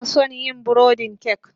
Ina son yin burodin kek